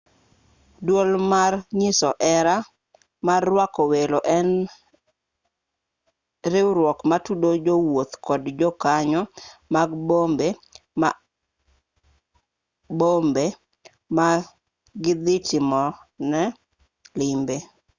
duol mar nyiso hera mar rwako welo en riwruok matudo jowuoth kod jokanyo mag bombe ma gidhi timoe limbe